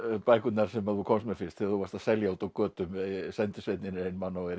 bækurnar sem þú komst með fyrst þegar þú varst að selja úti á götum sendisveinninn er einmana og er